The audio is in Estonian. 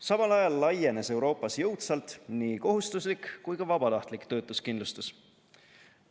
Samal ajal laienes Euroopas jõudsalt nii kohustuslik kui ka vabatahtlik töötuskindlustus.